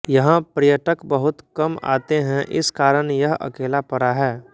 यहाँ पर्यटक बहुत कम आते है इस कारण यह अकेला पडा है